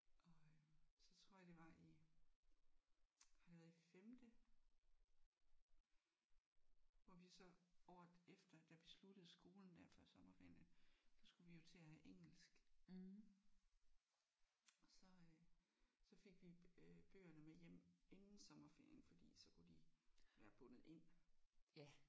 Og øh så tror jeg det var i har det været i femte? Hvor vi så året efter da vi sluttede skolen der før sommerferien så skulle vi jo til at have engelsk. Så øh så fik vi øh bøgerne med hjem inden sommerferien fordi så kunne de være bundet ind